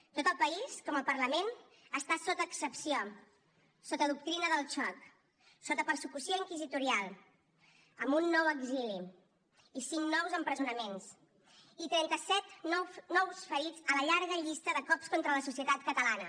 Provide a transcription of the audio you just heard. tot el país com el parlament està sota excepció sota doctrina del xoc sota persecució inquisitorial amb un nou exili i cinc nous empresonaments i trenta set nous ferits a la llarga llista de cops contra la societat catalana